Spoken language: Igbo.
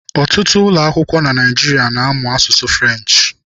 Ọtụtụ ụlọakwụkwọ na Naịjirịa na-amụ asụsụ French.